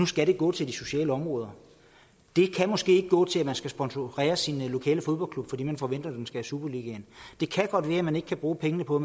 skal gå til de sociale områder det kan måske ikke gå til at man skal sponsorere sin lokale fodboldklub fordi man forventer den skal i superligaen det kan godt være at man ikke kan bruge pengene på